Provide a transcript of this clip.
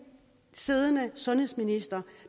siddende sundhedsminister